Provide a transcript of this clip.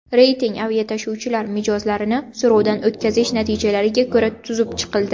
Reyting aviatashuvchilar mijozlarini so‘rovdan o‘tkazish natijalariga ko‘ra tuzib chiqildi.